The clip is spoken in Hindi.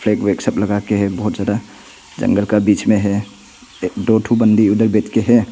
एक लगाके है बहुत ज्यादा जंगल के बीच मे हैं दो ठो बंदी उधर बैठ के है।